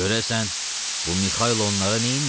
Görəsən bu Mikaylo onlara neyniyib?